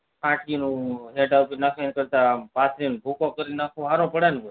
ફાટવું નું સેઠા ઉપર નાખવું એના કેરતા પાથરીને ભૂકો કરી ન નાખવો સારો પડે